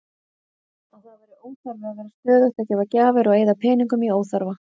Að það væri óþarfi að vera stöðugt að gefa gjafir og eyða peningum í óþarfa.